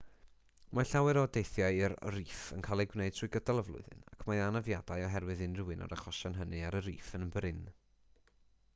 mae llawer o deithiau i'r rîff yn cael eu gwneud trwy gydol y flwyddyn ac mae anafiadau oherwydd unrhyw un o'r achosion hynny ar y rîff yn brin